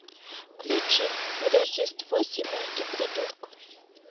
включи рождество семейки придурков